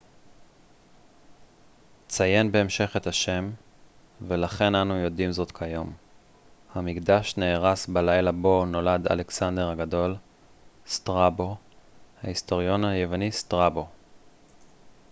ההיסטוריון היווני סטראבו strabo ציין בהמשך את השם ולכן אנו יודעים זאת כיום. המקדש נהרס בלילה בו נולד אלכסנדר הגדול